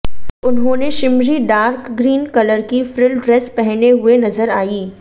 उन्होंने shimmery dark green colour की frill dress पहने हुए नजर आईं